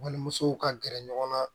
Walimusow ka gɛrɛ ɲɔgɔn na